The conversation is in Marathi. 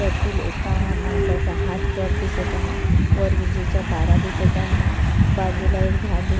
त्यातील एका माणसाचा हात वर दिसत आहे वर विजेच्या तारा दिसत आहे बाजूला एक झाड दि--